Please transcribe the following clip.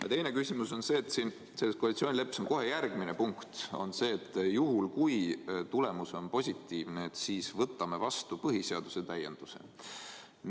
Ja teine küsimus on see, et koalitsioonileppes on kohe järgmine punkt see, et juhul kui tulemus on positiivne, siis võtame vastu põhiseaduse täienduse.